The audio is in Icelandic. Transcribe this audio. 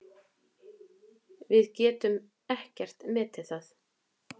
Við getum ekkert metið það.